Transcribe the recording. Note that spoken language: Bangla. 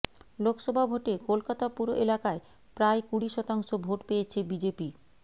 লোকসভা ভোটে কলকাতা পুর এলাকায় প্রায় কুড়ি শতাংশ ভোট পেয়েছে বিজেপি